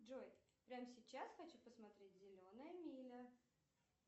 джой прямо сейчас хочу посмотреть зеленая миля